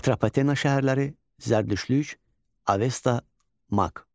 Atropatena şəhərləri, Zərdüştlük, Avesta, Maq.